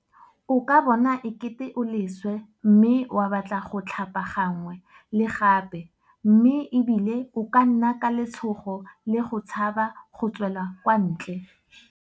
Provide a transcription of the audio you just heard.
O ka bona e kete o leswe mme wa batla go tlhapagangwe le gape mme e bile o ka nna ka letshogo le go tshaba go tswela kwa ntle.